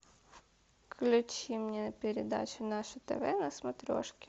включи мне передачу наше тв на смотрешке